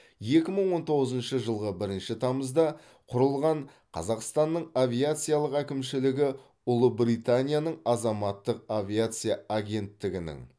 екі мың он тоғызыншы жылғы бірінші тамызда құрылған қазақстанның авиациялық әкімшілігі ұлыбританияның азаматтық авиация агенттігінің